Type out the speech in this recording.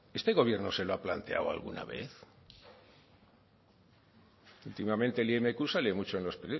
este gobierno se lo ha planteado alguna vez últimamente el imq sale mucho en los